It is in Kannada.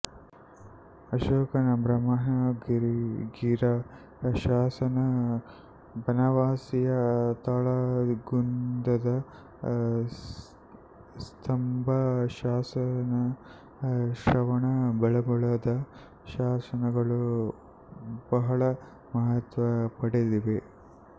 ಅಶೋಕನ ಬ್ರಹ್ಮಗಿಗಿರ ಶಾಸನ ಬನವಾಸಿಯ ತಾಳಗುಂದದ ಸ್ತಂಭ ಶಾಸನ ಶ್ರವಣಬೆಳಗೊಳದ ಶಾಸನಗಳು ಬಹಳ ಮಹತ್ವ ಪಡೆದಿವೆ